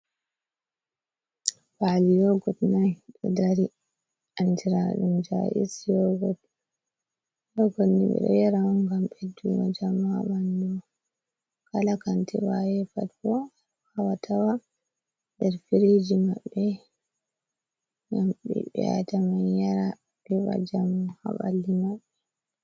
ba’al yogod na do dari anjiradum jais yogod nbe do yaraan gam be duma jamaban do kala kanti vaye pat bo hawatawa der firiji mabbe gam be be’ata man yara beva jam haballi mabbe